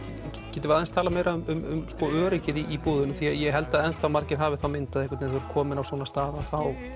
getum við aðeins talað meira um öryggið í búðunum því ég held að margir hafi þá mynd einhvern veginn að kominn á svona stað að þá